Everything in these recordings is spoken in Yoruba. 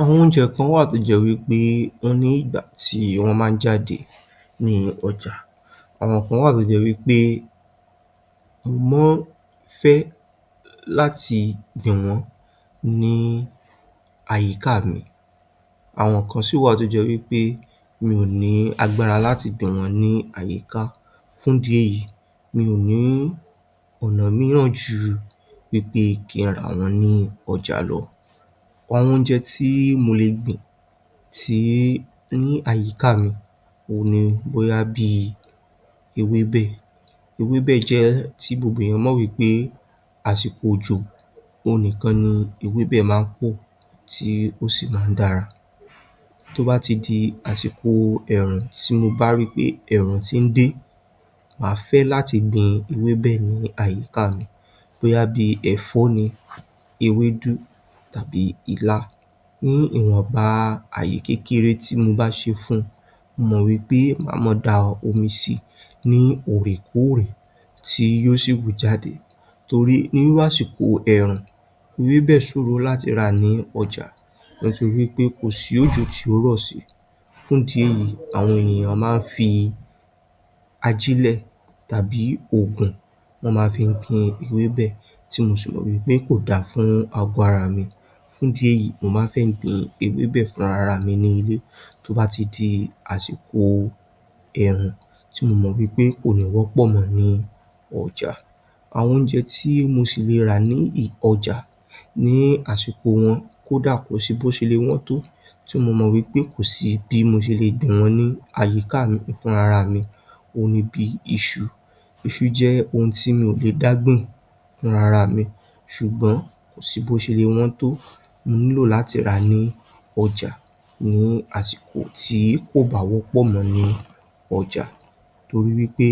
Àwọn oúnjẹ kan wà tó jẹ́ wí pé ó ní ìgbà tí wọ́n máa ń jáde nínú ọjà, àwọn kan wà tó jẹ́ wí pé wọ́n fẹ́ láti hàn ní àyíkáà mi, àwọn kan sì wà tó jẹ́ wí pé mi ò ní agbára láti gbìn wọ́n ní àyíká fún ìdí èyí mi ò ní ọ̀nà mìíì ju wí pé kí a rà wọ́n ní ọjà lọ. Oúnjẹ tí mo le gbìn sí inú àyíkáà mi ni bóyá bí ewébẹ̀. Ewébẹ̀ jẹ́ èyí tí gbogbo ènìyàn gbàgbọ́ wí pé àsìkò òjò nìkan ni ewébẹ̀ máa ń pọ̀ tí ó sì máa ń dára. Tó bá ti di àsìkò ẹ̀ẹ̀rùn ti mo bá ríi wí pé ẹ̀ẹ̀rùn ti ń dé màá fẹ́ lati gbin ewébẹ̀ bẹ́ẹ̀ ní àyíká mi. Bóyá bíi ẹ̀fọ́ ni, ewéédú tàbí ilá ní ìwọ̀nba ààyè kékeré tí mo bá ṣe fún un. Mo mọ̀ wi pé màá máa da omi sí i ní òòrékòrè tí yó sì hù jáde. Torí nínú àsìkò ẹ̀ẹ̀rùn, ewébẹ̀ ṣòro láti rà ní ọjà torí wí pé kò sí òjò tí yó rọ̀ sí. Fún ìdí èyí àwọn ènìyàn máa ń fi ajílẹ̀ tàbí oògùn wọ́n máa fi gbin ewébẹ̀, tí mo sì mọ̀ pé kò dára fún àgọ́ ara mi. Fún ìdí èyí mo máa ń gbin ewébẹ̀ fúnra ara mi nínú ilé tó bá ti di àsìkò ẹ̀ẹ̀rún tí mo mọ̀ wí pé kò wọ́pọ̀ mọ́ ní ọjà. Àwọn oúnjẹ tí mo sì le ra ní ọjà ní àsìkò wọn kódà kò si bó ṣe le wọ́n tó ti mo mọ̀ wí pè kò sí bí mo ṣe lè gbìn wọ́n ní àyíkáà mi fúnra ara mi òhun ni bí iṣu. Iṣu jẹ́ ohun tí mi ò lè dá gbìn fúnra ara mi, ṣùgbọ́n kò sí bó ṣe le wọ́n tó mo ní láti rà á ní ọjà ní àsìkò tí kò bá wọ́pọ̀ mọ́ ní ọjà. Torí wí pé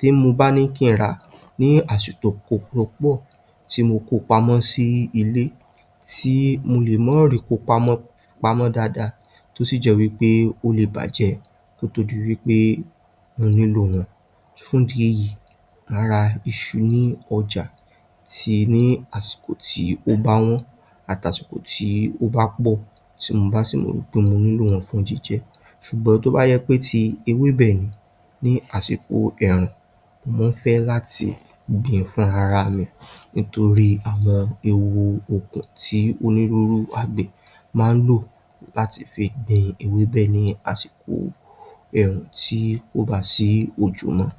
tí mo bá ní kí n rà á ní àsìkò tí wọ́n pọ̀ tí mo kó wọn pamọ́ síle tí mo lè má lè kó wọn pamọ́ dáadáa tó sì jẹ́ wí pé ko le bàjẹ́, kó tó di wí pé mo nílò wọn, fún ìdí èyí, ma ra iṣu ní ọjà síi ní àsìkò ti ó bá wọ̀n àti asìkò tó bá pọ̀. Ti mo bá sì rò pé mo nílò rẹ̀ fún jíjẹ. Ṣùgbọ́n tó bá ṣe ti ewébẹ̀ ni ní àsìkò ẹ̀ẹ̀rùn mo fẹ́ láti gbìn ín fúnra ara mi, nítorí àwọn ewu òògùn tí àgbẹ̀ máa ń lò fi gbin ewébẹ́ ní àsìkò ẹ̀ẹ́rùn tí kó bá sí òjò mọ́.